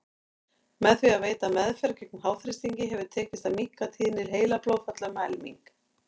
Með því að veita meðferð gegn háþrýstingi hefur tekist að minnka tíðni heilablóðfalla um helming.